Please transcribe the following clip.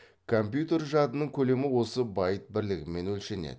компьютер жадының көлемі осы байт бірлігімен өлшенеді